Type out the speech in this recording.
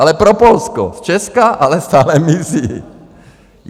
Ale pro Polsko, z Česka voda stále mizí.